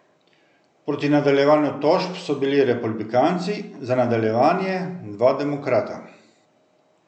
Proti nadaljevanju tožb so bili republikanci, za nadaljevanje dva demokrata.